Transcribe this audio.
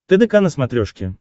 тдк на смотрешке